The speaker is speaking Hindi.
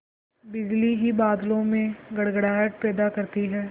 बिजली ही बादलों में गड़गड़ाहट पैदा करती है